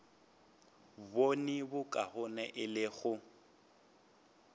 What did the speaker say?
bone bokaone e le go